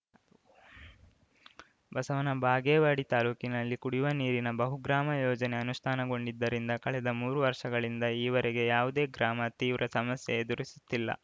ಬಸವನ ಬಾಗೇವಾಡಿ ತಾಲೂಕಿನಲ್ಲಿ ಕುಡಿಯುವ ನೀರಿನ ಬಹುಗ್ರಾಮ ಯೋಜನೆ ಅನುಷ್ಠಾನಗೊಂಡಿದ್ದರಿಂದ ಕಳೆದ ಮೂರು ವರ್ಷಗಳಿಂದ ಈವರೆಗೆ ಯಾವುದೇ ಗ್ರಾಮ ತೀವ್ರ ಸಮಸ್ಯೆ ಎದುರಿಸುತ್ತಿಲ್ಲ